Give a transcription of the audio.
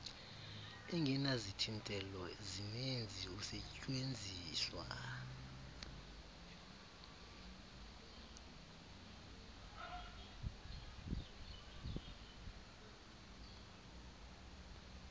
ingenazithintelo zininzi usetyuenziswa